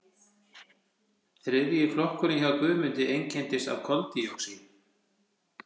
þriðji flokkurinn hjá guðmundi einkennist af koldíoxíði